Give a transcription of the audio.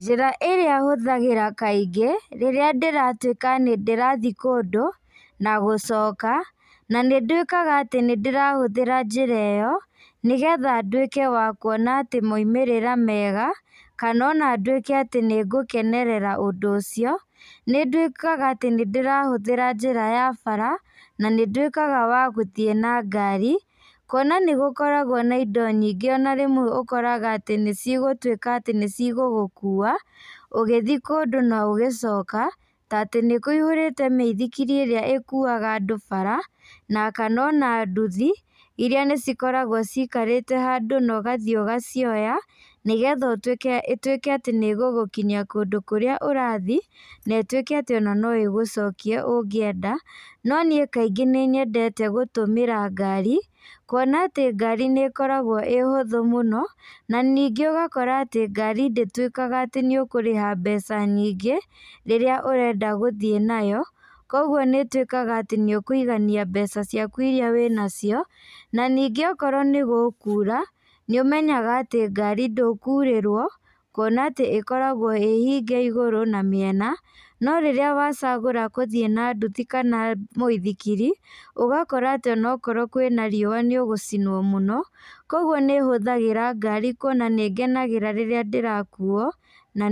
Njĩra ĩrĩa hũthagĩra kaingĩ, rĩrĩa ndĩratuĩka nĩndĩrathiĩ kũndũ, na gũcoka, na nĩ nduĩkaga atĩ nĩndĩrahũthĩra njĩra ĩyo, nĩgetha nduĩke wa kuona atĩ moimĩrĩra mega, kana ona ndũĩke atĩ nĩngũkenerera ũndũ ũcio, nĩ nduĩkaga atĩ nĩndĩrahũthĩra njĩra ya bara, na nĩ nduĩkaga wa gũthiĩ na ngari, kuona nĩgũkoragwo na indo nyingĩ ona rĩmwe ũkoraga atĩ nĩcigũtuĩka atĩ nĩcigũgũkua, ũgĩthi kũndũ na ũgĩcoka, ta atĩ nĩkũihũrĩte mĩithikiri ĩrĩa ĩkuaga andũ bara, na kana ona nduthi, iria nĩcikoragwo cikarĩte handũ na ũgathi ũgacioya, nĩgetha ũtuĩke ĩtuĩke atĩ nĩgũgũkinyia kũndũ kũrĩa ũrathi, na ĩtuĩke atĩ ona no ĩgũcokie ũngĩenda, no niĩ kaingĩ nĩnyendete gũtũmĩra ngari, kuona atĩ ngari nĩkoragwo ĩ hũthũ mũno, na ningĩ ũgakora atĩ ngari ndĩtuĩkaga atĩ nĩũkũrĩha mbeca nyingĩ, rĩrĩa ũrenda gũthiĩ nayo, koguo nĩtuĩkaga atĩ nĩũkũigania mbeca ciaku iria wĩnacio, na ningĩ okorwo nĩgũkura, nĩũmenyaga atĩ ngari ndũkurĩrwo, kuona atĩ ĩkoragwo ĩ hinge igũrũ na mĩena, no rĩrĩa wacagũra kũthiĩ na ndũthi kana mũithikiri, ũgakora atĩ onokorwo kwĩna riua nĩũgũcinwo mũno, koguo nĩhũthagĩra ngai kuona nĩngenagĩra rĩrĩa ndĩrakuo, na.